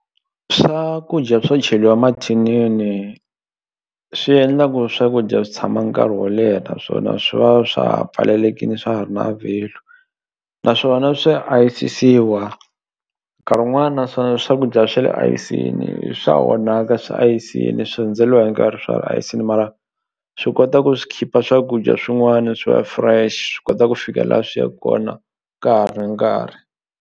Swakudya swo cheliwa emathinini swi endla ku swakudya swi tshama nkarhi wo leha naswona swi va swa ha pfalelekini swa ha ri na value naswona swa ayisisiwa nkarhi wun'wana swakudya swa le ayisini swa onhaka swi ayisini swi hundzeliwa hi nkarhi swa ayisini mara swi kota ku swi khipha swakudya swin'wani swi va fresh swi kota ku fika la swi yaku kona ka ha ri nkarhi.